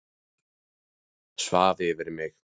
Svaf yfir mig